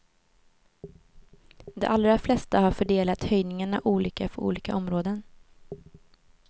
De allra flesta har fördelat höjningarna olika för olika områden.